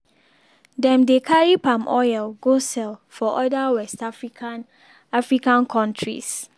dem dey carry palm oil go sell for oda west african african countries